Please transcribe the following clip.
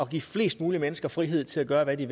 give flest mulige mennesker frihed til at gøre hvad de